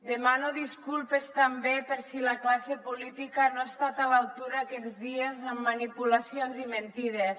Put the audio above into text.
demano disculpes també per si la classe política no ha estat a l’altura aquests dies amb manipulacions i mentides